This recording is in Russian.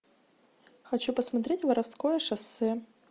хочу посмотреть воровское шоссе